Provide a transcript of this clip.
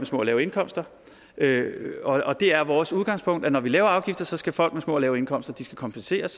små og lave indkomster det er vores udgangspunkt at når vi laver afgifter skal folk med små og lave indkomster kompenseres